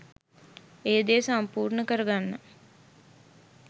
ඒ දේ සම්පූර්ණ කරගන්න